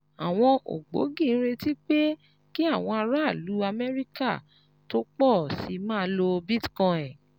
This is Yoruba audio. Àwọn ògbógi ń retí pé kí àwọn aráàlú Amẹ́ríkà tó pọ̀ sí i máa lo Bitcoin